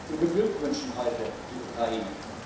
Wir beglückwünschen heute die Ukraine.